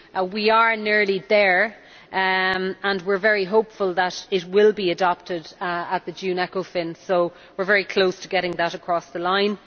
We are nearly there and we are very hopeful that it will be adopted at the June ECOFIN, so we are very close to getting that across the line.